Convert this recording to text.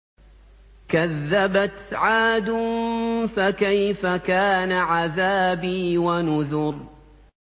كَذَّبَتْ عَادٌ فَكَيْفَ كَانَ عَذَابِي وَنُذُرِ